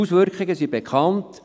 Die Auswirkungen sind bekannt: